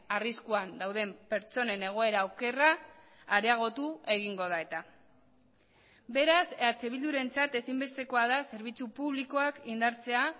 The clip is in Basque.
arriskuan dauden pertsonen egoera okerra areagotu egingo da eta beraz eh bildurentzat ezinbestekoa da zerbitzu publikoak indartzea